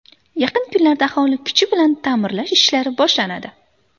Yaqin kunlarda aholi kuchi bilan ta’mirlash ishlari boshlanadi.